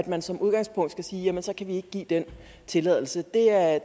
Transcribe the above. man som udgangspunkt skal sige at så kan man ikke give den tilladelse det er